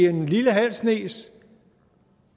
i en lille halv snes